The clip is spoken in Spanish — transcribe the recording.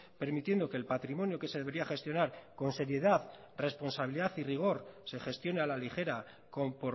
permitiendo que el patrimonio que se debería gestionar con seriedad responsabilidad y rigor se gestione a la ligera con